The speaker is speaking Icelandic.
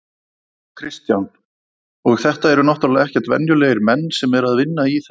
Kristján: Og þetta eru náttúrulega ekkert venjulegir menn sem að eru að vinna í þessu?